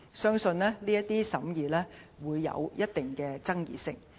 相信這些審議會有一定的爭議性。